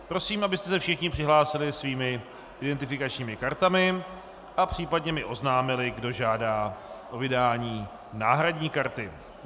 Prosím, abyste se všichni přihlásili svými identifikačními kartami a případně mi oznámili, kdo žádá o vydání náhradní karty.